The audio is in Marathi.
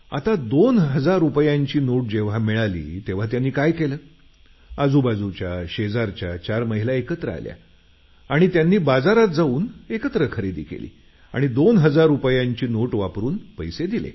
आता जेव्हा 2000 रुपयांची नोट मिळाली तेव्हा त्यांनी काय केलं आजूबाजूच्या शेजारच्या चार महिला एकत्र आल्या आणि त्यांनी बाजारात जाऊन एकत्र खरेदी केली आणि 2000 रुपयांची नोट वापरुन पैसे दिले